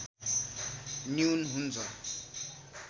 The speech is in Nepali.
न्यून हुन्छ